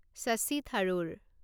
Shashi Tharoor